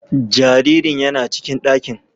Jariri yana cikin ɗakin.